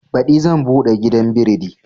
Baɗi zan buɗe gidan biredi